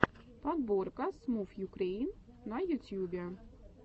подборка смувюкрэйн на ютьюбе